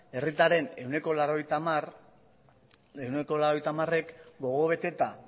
herritarren ehuneko laurogeita hamarek gogo beteta